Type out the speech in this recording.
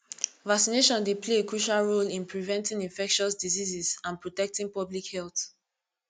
vaccination dey play a crucial role in preventing infectious diseases and protecting public health